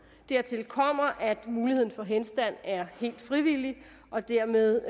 dertil kommer at muligheden for henstand er helt frivillig og dermed